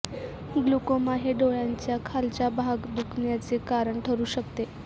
glaucoma हे डोळ्याच्या खालचा भाग दुखण्याचे कारण ठरू शकते